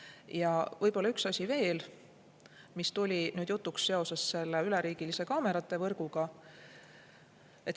Ja võib-olla üks asi veel, mis tuli jutuks seoses selle üleriigilise kaamerate võrguga.